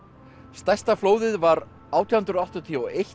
stærsta flóðið var átján hundruð áttatíu og eitt